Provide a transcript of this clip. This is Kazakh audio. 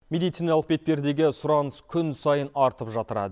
медициналық бетпердеге сұраныс күн сайын артып жатыр